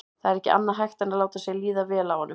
Það var ekki annað hægt en láta sér líða vel af honum.